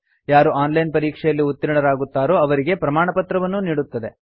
ಯಾರು online ಪರೀಕ್ಷೆಯಲ್ಲಿ ಉತ್ತೀರ್ಣರಾಗುತ್ತಾರೋ ಅವರಿಗೆ ಪ್ರಮಾಣಪತ್ರವನ್ನೂ ನೀಡುತ್ತದೆ